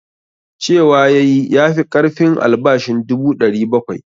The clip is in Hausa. Cewa ya yi ya fi ƙarfin albashin dubu 700.